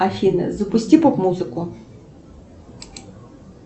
афина запусти поп музыку